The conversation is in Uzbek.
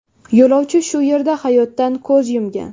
Yo‘lovchi shu yerda hayotdan ko‘z yumgan.